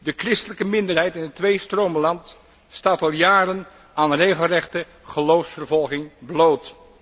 De christelijke minderheid in het tweestromenland staat al jaren aan regelrechte geloofsvervolging bloot.